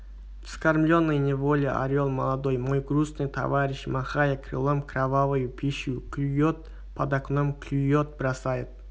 вскормленный неволе орел молодой мой грустный товарищ махая крылом кровавую пищу клюет под окном клюет бросает